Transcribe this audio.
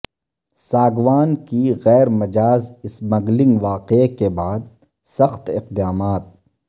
ساگوان کی غیر مجاز اسمگلنگ واقعہ کے بعد سخت اقدامات